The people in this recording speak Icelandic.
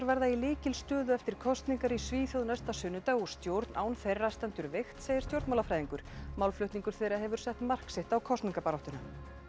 verða í lykilstöðu eftir kosningar í Svíþjóð næsta sunnudag og stjórn án þeirra stendur veikt segir stjórnmálafræðingur málflutningur þeirra hefur sett mark sitt á kosningabaráttuna